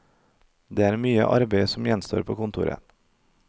Det er mye arbeid som gjenstår på kontoret.